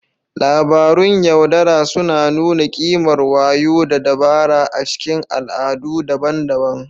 Labarun yaudara suna nuna ƙimar wayo da dabara a cikin al'adu daban-daban.